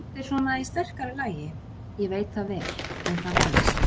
Þetta er svona í sterkara lagi, ég veit það vel, en það venst.